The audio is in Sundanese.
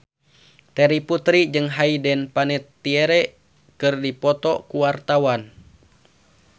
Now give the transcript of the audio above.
Terry Putri jeung Hayden Panettiere keur dipoto ku wartawan